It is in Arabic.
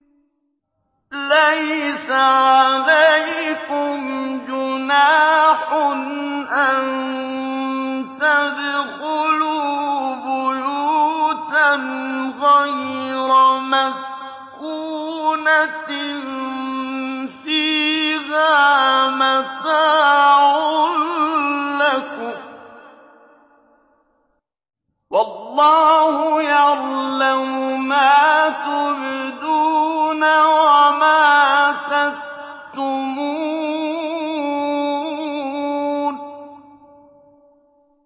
لَّيْسَ عَلَيْكُمْ جُنَاحٌ أَن تَدْخُلُوا بُيُوتًا غَيْرَ مَسْكُونَةٍ فِيهَا مَتَاعٌ لَّكُمْ ۚ وَاللَّهُ يَعْلَمُ مَا تُبْدُونَ وَمَا تَكْتُمُونَ